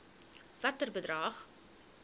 watter bedrag